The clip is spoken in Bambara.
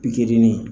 Pikirinin